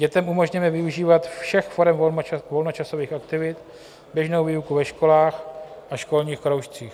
Dětem umožněme využívat všech forem volnočasových aktivit, běžnou výuku ve školách a školních kroužcích.